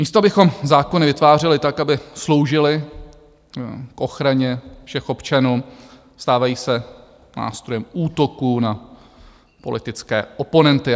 Místo abychom zákony vytvářeli tak, aby sloužily k ochraně všech občanů, stávají se nástrojem útoků na politické oponenty.